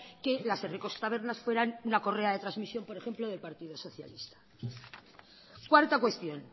que las herriko tabernas fueran una correa de transmisión por ejemplo del partido socialista cuarta cuestión